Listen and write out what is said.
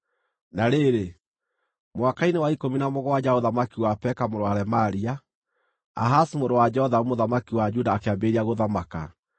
Na rĩrĩ, mwaka-inĩ wa ikũmi na mũgwanja wa ũthamaki wa Peka mũrũ wa Remalia, Ahazu mũrũ wa Jothamu mũthamaki wa Juda akĩambĩrĩria gũthamaka.